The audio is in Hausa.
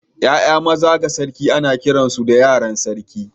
’Ya’ya maza ga sarki ana kiransu da yaran sarki.